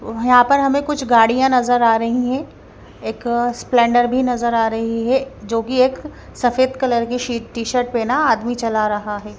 यहाँ पर हमें कुछ गाड़ियां नजर आ रही हैं एक स्प्लेंडर भी नजर आ रही है जो कि एक सफेद कलर की शीट टी शर्ट पहना आदमी चला रहा है।